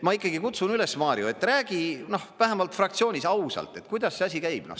Ma ikkagi kutsun üles, Mario, räägi, noh, vähemalt fraktsioonis ausalt, et kuidas see asi käib.